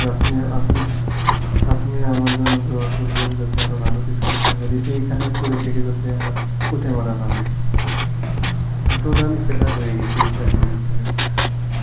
আপনি আপনি, আপনিও আমার জন্যে Hindi করবেন যাতে আরো ভালো কিছু করতে পারি এখানে পড়ে থেকে যাতে আমার পচে মরা না লাগে, আমি totally fed up হয়ে গেছি এই চাকরির ওপরে বুজছেন